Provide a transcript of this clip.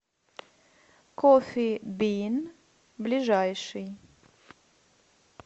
коффи бин ближайший